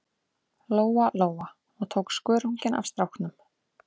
Lóa-Lóa og tók skörunginn af stráknum.